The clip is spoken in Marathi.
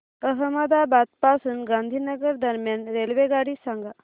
अहमदाबाद पासून गांधीनगर दरम्यान रेल्वेगाडी सांगा